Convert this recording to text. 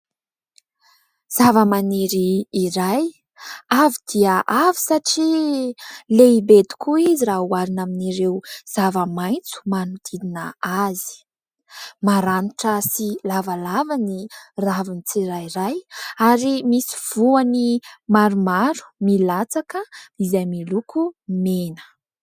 Zavamaniry iray avo dia avo satria lehibe tokoa izy raha oharina amin'ireo zava-maitso manodidina azy. Maranitra sy lavalava ny raviny tsirairay ary misy voany maromaro milatsaka izay miloko mena.